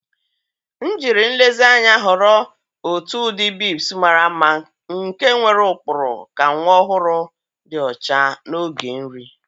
M jiri nlezianya họrọ otu ụdị bibs mara mma nke nwere ụkpụrụ ka nwa ọhụrụ dị ọcha n'oge nri.